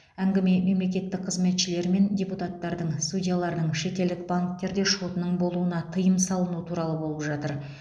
әңгіме мемлекеттік қызметшілер мен депутаттардың судьялардың шетелдік банктерде шотының болуына тыйым салыну туралы болып жатыр